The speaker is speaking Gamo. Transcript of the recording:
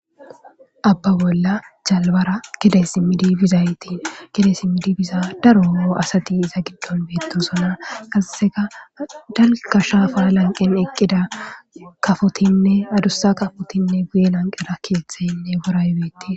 abba bolla jalbara kide simmidi bizaytiin kide simmidi biza daro asati iza giddon beettosona kasaseka dalga shaafa lanqen eqqida kafotinne adussa kafotinne guye lanqera kietheyinne goraybeti